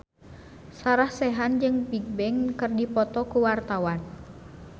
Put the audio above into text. Sarah Sechan jeung Bigbang keur dipoto ku wartawan